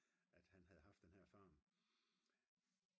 at han havde haft den her farm